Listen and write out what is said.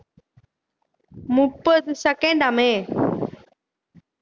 முப்பது second ஆமே